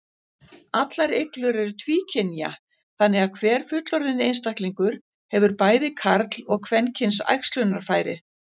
Allar iglur eru tvíkynja, þannig að hver fullorðinn einstaklingur hefur bæði karl- og kvenkyns æxlunarfæri.